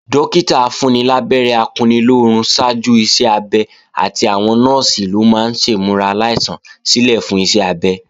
Dọ́kítà afúnnilábẹ́rẹ́ akunnilóorun ṣáájú iṣẹ́-abẹ àti àwọn Nọ́ọ̀sì ló máa ń ṣèmúra aláìsàn sílè fún iṣẹ́ abẹ